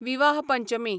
विवाह पंचमी